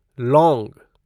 लौंग